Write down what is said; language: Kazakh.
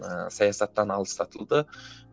ыыы саясаттан алыстатылды